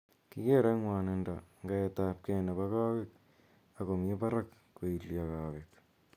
kigere �ng'wonindo ngaet ap kee nepo kaweek ako mii baraak koilyo kawek.